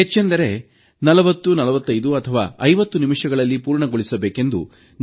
ಹೆಚ್ಚೆಂದರೆ 404550 ನಿಮಿಷಗಳಲ್ಲಿ ಪೂರ್ಣಗೊಳಿಸಬೇಕೆಂದು